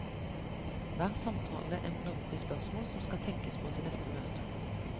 Hver samtale ender opp i spørsmål som skal tenkes på til neste møte.